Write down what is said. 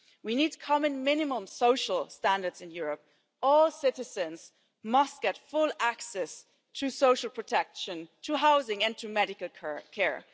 We need common minimum social standards in Europe. All citizens must get full access to social protection, to housing and to medical care.